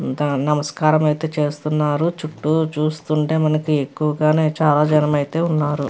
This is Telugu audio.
ఇంకా నమస్కారం అయితే చేస్తున్నారు చుట్టూ చూస్తుంటే మనకి ఎక్కువగానే చాలా జనమే అయితే ఉన్నారు.